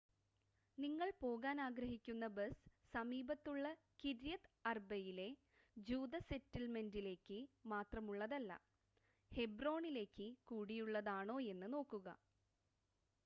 നിങ്ങൾ പോകാൻ ആഗ്രഹിക്കുന്ന ബസ് സമീപത്തുള്ള കിര്യത് അർബയിലെ ജൂത സെറ്റിൽമെൻ്റിലേക്ക് മാത്രമുള്ളതല്ല ഹെബ്രോണിലേക്ക് കൂടിയുള്ളതാണോയെന്ന് നോക്കുക